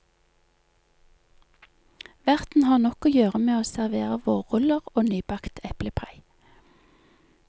Verten har nok å gjøre med å servere vårruller og nybakt eplepai.